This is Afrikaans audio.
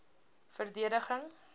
verdediging